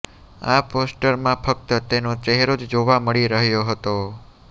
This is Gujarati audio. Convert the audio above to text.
આ પોસ્ટરમાં ફક્ત તેનો ચહેરો જ જોવા મળી રહ્યો હતો